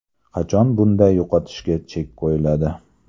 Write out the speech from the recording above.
Qachon bunday yo‘qotishga chek qo‘yiladi.